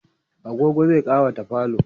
agogo zai ƙawata falo